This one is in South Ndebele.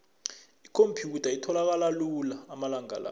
ikhomphyutha itholakala lula amalanga la